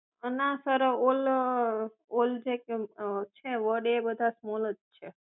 ના sir all જે કઈ પણ છે વર્ડ એ બધા સ્મોલ જ છે